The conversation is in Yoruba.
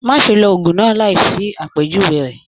Má ṣe ló òògùn náà láì sí àpèjúwe rẹ.